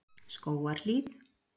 Skógarhlíð